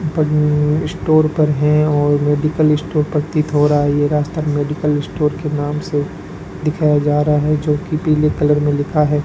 Store पर हैं और मेडिकल स्टोर प्रतीत हो रहा है और ये रास्ता मेडिकल स्टोर के नाम से दिखाया जा रहा है जो कि पीले कलर में लिखा है।